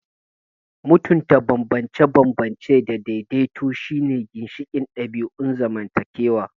Mutunta bambance-bambance da daidaito shine ginshiƙin ɗabi'un zamantakewa.